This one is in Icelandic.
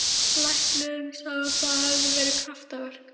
Læknirinn sagði að það hefði verið kraftaverk.